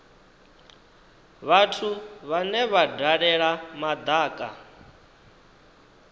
vhathu vhane vha dalela madaka